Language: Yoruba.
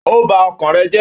Óò bá ọkàn rè jẹ́.